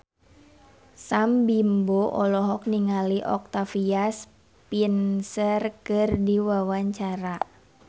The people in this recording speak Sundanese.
Sam Bimbo olohok ningali Octavia Spencer keur diwawancara